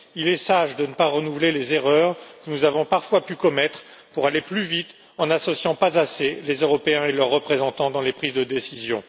Il est sage de ne pas renouveler les erreurs que nous avons parfois pu commettre pour aller plus vite, en n'associant pas assez les Européens et leurs représentants aux prises de décision.